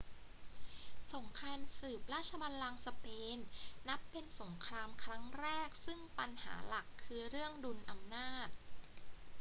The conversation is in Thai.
สงครามสืบราชบัลลังก์สเปนนับเป็นสงครามครั้งแรกซึ่งปัญหาหลักคือเรื่องดุลอำนาจ